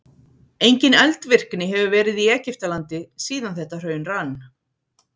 Engin eldvirkni hefur verið í Egyptalandi síðan þetta hraun rann.